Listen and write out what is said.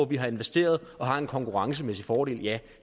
vi har investeret og har en konkurrencemæssig fordel ja